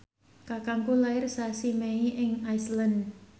kakangku lair sasi Mei ing Iceland